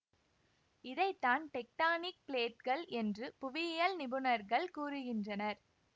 இதை தான் டெக்டானிக் பிளேட்கள் என்று புவியியல் நிபுணர்கள் கூறுகின்றனர்